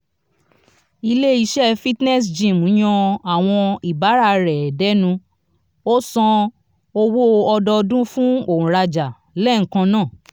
ile ise fitness gym yan awon ibaara re denu o san owó odoodun fún onraja léẹkan náà